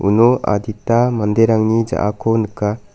uno adita manderangni ja·ako nika.